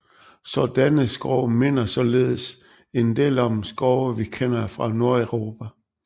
Sådanne skove minder således en del om de skove vi kender fra Nordeuropa